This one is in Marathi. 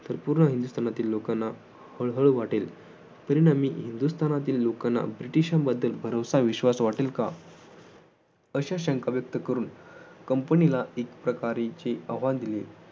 तर पूर्ण हिंदुस्थानातील लोकांना हळहळ वाटेल, तरी हिंदुस्थानातील लोकांना ब्रिटिशांबद्दल भरवसा विश्वास वाटेल का? अशा शंका व्यक्त करून कंपनीला एक प्रकारचे आवाहन दिले.